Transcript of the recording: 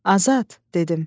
Azad, dedim.